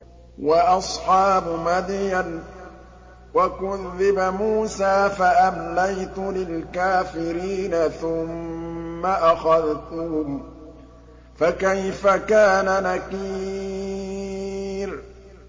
وَأَصْحَابُ مَدْيَنَ ۖ وَكُذِّبَ مُوسَىٰ فَأَمْلَيْتُ لِلْكَافِرِينَ ثُمَّ أَخَذْتُهُمْ ۖ فَكَيْفَ كَانَ نَكِيرِ